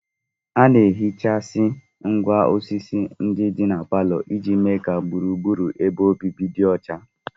A na-ehichasị ngwá osisi ndị dị na parlour iji mee ka gburugburu ebe obibi dị ọcha